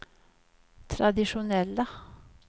traditionella